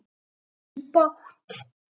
Þau áttu bágt!